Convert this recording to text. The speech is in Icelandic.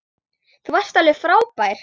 Þú varst alveg frábær.